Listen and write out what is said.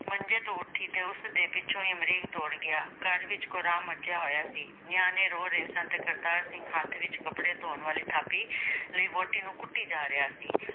ਮੰਜੇ ਤੋਂ ਉੱਠੀ ਅਤੇ ਉਸਦੇ ਪਿੱਛੇ ਹੀ ਅਮਰੀਕ ਦੌੜ ਗਿਆ, ਘਰ ਵਿੱਚ ਕੁਹਰਾਮ ਮੱਚਿਆ ਹੋਇਆ ਸੀ। ਨਿਆਣੇ ਰੋ ਰਹੇ ਸਨ ਅਤੇ ਕਰਤਾਰ ਸਿੰਘ ਹੱਥ ਵਿੱਚ ਕੱਪੜੇ ਧੋਣ ਵਾਲੀ ਥਾਪੀ ਲਈ ਵਹੁਟੀ ਨੂੰ ਕੁੱਟੀ ਜਾ ਰਿਹਾ ਸੀ।